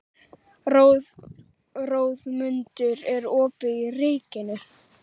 Þórmundur, er opið í Ríkinu?